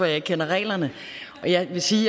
jeg ikke kender reglerne og jeg vil sige